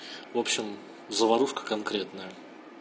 вобщем заварушка конкретная